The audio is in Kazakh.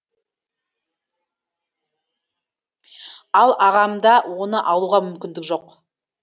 ал ағамда оны алуға мүмкіндік жоқ